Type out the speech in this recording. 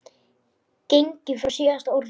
gengið frá SÍÐASTA ORÐINU.